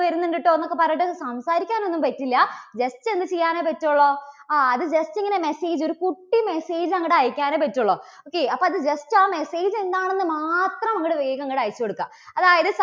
വരുന്നുണ്ടട്ടോ എന്നൊക്കെ പറഞ്ഞിട്ട് സംസാരിക്കാനൊന്നും പറ്റില്ല. just എന്ത് ചെയ്യാനേ പറ്റുള്ളൂ, ആ അത് just ഇങ്ങനെ message ഒരു കുട്ടി message അങ്ങട് അയക്കാനെ പറ്റുള്ളൂ okay അപ്പോ അത് just ആ message എന്താണെന്ന് മാത്രം അങ്ങട് വേഗം അങ്ങട് അയച്ചു കൊടുക്കാം. അതായത്